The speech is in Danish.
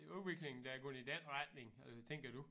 En udvikling der er gået i den retning øh tænker du